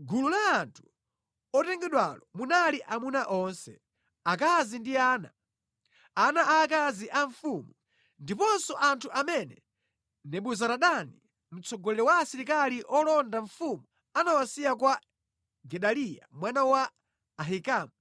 Mʼgulu la anthu otengedwalo munali amuna onse, akazi ndi ana, ana aakazi a mfumu, ndiponso anthu amene Nebuzaradani mtsogoleri wa asilikali olonda mfumu anawasiya kwa Gedaliya mwana wa Ahikamu,